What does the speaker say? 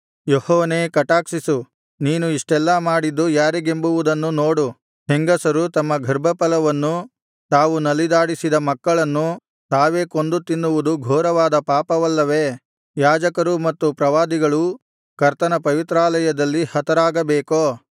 ಯೆಹೋವನೇ ಕಟಾಕ್ಷಿಸು ನೀನು ಇಷ್ಟೆಲ್ಲಾ ಮಾಡಿದ್ದು ಯಾರಿಗೆಂಬುವುದನ್ನು ನೋಡು ಹೆಂಗಸರು ತಮ್ಮ ಗರ್ಭಫಲವನ್ನು ತಾವು ನಲಿದಾಡಿಸಿದ ಮಕ್ಕಳನ್ನು ತಾವೇ ಕೊಂದು ತಿನ್ನುವುದು ಘೋರವಾದ ಪಾಪವಲ್ಲವೇ ಯಾಜಕರೂ ಮತ್ತು ಪ್ರವಾದಿಗಳೂ ಕರ್ತನ ಪವಿತ್ರಾಲಯದಲ್ಲಿ ಹತರಾಗಬೇಕೋ